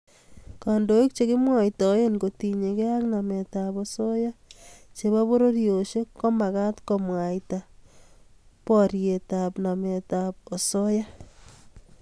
Kandoik chekimwoitoe kotinyekei ak nametab osoya chebo pororiosiek komagat komwaita borietb nametab osoya